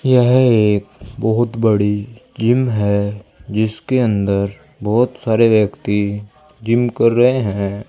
यह एक बहुत बड़ी जिम है जिसके अंदर बहुत सारे व्यक्ति जिम कर रहे हैं।